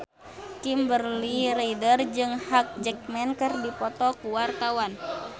Kimberly Ryder jeung Hugh Jackman keur dipoto ku wartawan